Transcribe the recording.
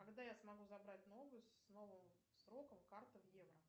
когда я смогу забрать новую с новым сроком карту в евро